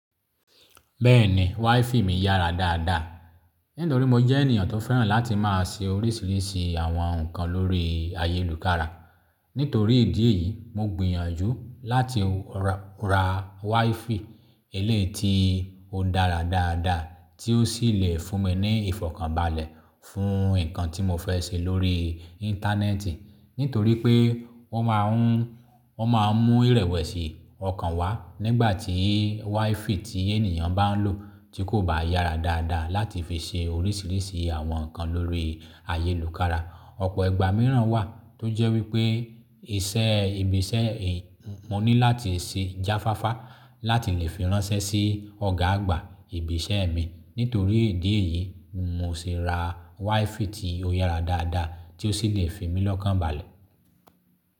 Bẹ́ẹ̀ni wifi mi yára dáadáa. Nítorí mo jẹ́ ènìyàn tó fẹ́ràn láti máa ṣe orísìírísìí àwọn nǹkan lórí ayélùkára. Nítorí ìdí èyí, mo gbìyànjú láti ra wifi eléyi ti ó n dára dáadáa tí ó sì le fún mi ní ìfọ̀kànbalẹ̀ fún nǹkan tí mo fẹ́ ṣe lórí íńtánẹ́ẹ̀tì. Nítorí pé wọ́n máa ń, wọ́n máa mú ìrẹ̀wẹ̀sì ọkàn wá nígbà tí wifi tí ènìyàn bá ń lò tí kò bá yára dáadáa láti fi ṣe orísìírísìí àwọn nǹkan lórí ayélùkára. Ọ̀pọ̀ ìgbà mìíràn wà tó jẹ́ wípé iṣẹ́ ibi iṣẹ́ i, mo ní láti ṣe jáfáfá láti le fi ránṣẹ́ sí ọ̀gá àgbà ibi iṣẹ́ mi. Nítorí ìdí èyí, ni mo ṣe ra wifi tí ó yára dáadáa tí ó sì le fi mí lọ́kàn balẹ̀.